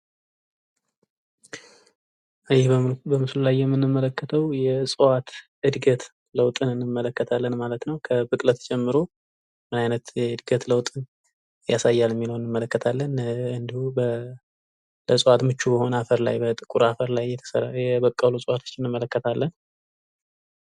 ይህ በምስሉ ላይ የምንመለከተዉ የእፅዋት እድገት ለዉጥን እንመለከታለን ማለት ነዉ። ከብቅለት ጀምሮ ምን አይነት የእድገት ለዉጥ ያሳያል የሚለዉን እንመለከታለን። እንዲሁ ለእፅዋት ምቹ የሆነ የአፈር ላይ በጥቁር አፈር ላይ የበቀሉ እፅዋቶችን እንመለከታለን።